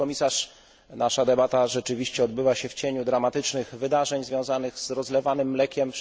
Pani komisarz! Nasza debata rzeczywiście odbyła się w cieniu dramatycznych wydarzeń związanych z rozlewanym mlekiem.